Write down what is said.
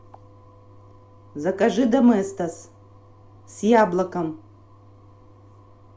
закажи доместос с яблоком